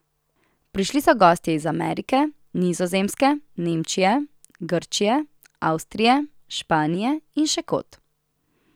Prišli so gostje iz Amerike, Nizozemske, Nemčije, Grčije, Avstrije, Španije in še kod.